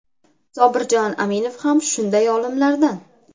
Sobirjon Aminov ham shunday olimlardan.